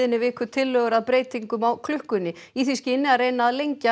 í vikunni tillögur að breytingum á klukkunni í því skyni að reyna að lengja